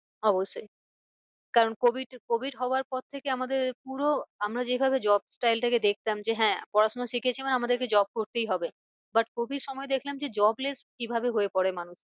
অবশ্যই কারণ covid, covid হওয়ার পর থেকে আমাদের পুরো আমরা যে ভাবে job trial টাকে দেখতাম যে হ্যাঁ পড়া শোনা শিখেছি মানে আমাদেরকে job করতেই হবে। but covid সময় দেখলাম যে jobless কি ভাবে হয়ে পরে মানুষ